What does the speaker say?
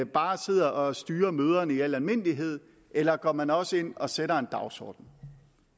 bare sidder og styrer møderne i al almindelighed eller går man også ind og sætter en dagsorden